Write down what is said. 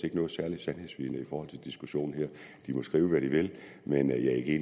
ikke noget særligt sandhedsvidne i forhold til diskussionen her de må skrive hvad de vil men